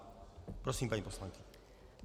Prosím, paní poslankyně.